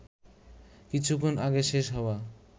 কিছুক্ষণ আগে শেষ হওয়া